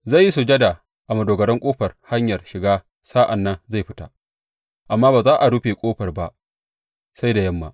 Zai yi sujada a madogarar ƙofar hanyar shiga sa’an nan ya fita, amma ba za a rufe ƙofar ba sai da yamma.